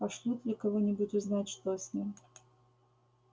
пошлют ли кого-нибудь узнать что с ним